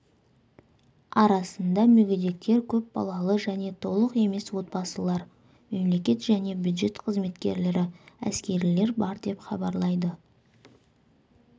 арасында мүгедектер көпбалалы және толық емес отбасылар мемлекет және бюджет қызметкерлері әскерилер бар деп хабарлайды